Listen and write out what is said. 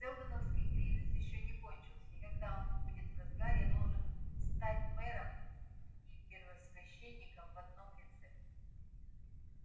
сэлдоновский кризис ещё не кончился и когда он будет в разгаре я должен стать мэром и первосвященником в одном лице